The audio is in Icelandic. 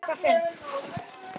Og áfram hélt hann.